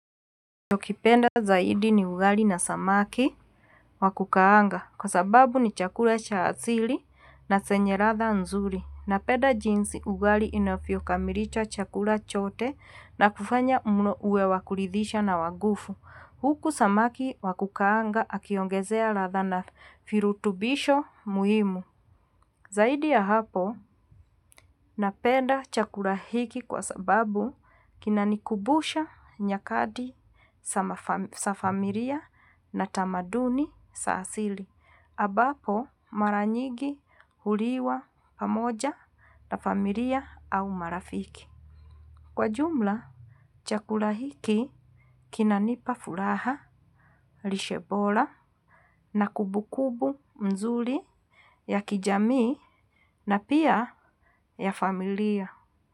Ninacho kipenda zaidi ni ugali na samaki wakukaanga kwa sababu ni chakula cha asili na zenye ladha nzuri. Napenda jinsi ugali inavyokamilisha chakula chote na kufanya mlo uwe wakuridhisha na wa nguvu. Huku samaki wakukaanga akiongezea ladha na virutubisho muhimu. Zaidi ya hapo, napenda chakula hiki kwa sababu kinanikumbusha nyakati za familia na tamaduni za asili. Ambapo mara nyigi huliwa pamoja na familia au marafiki. Kwa jumla, chakula hiki kina nipa furaha, lishe bora na kumbu kumbu mzuri ya kijami na pia ya familia.